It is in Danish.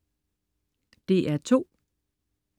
DR2: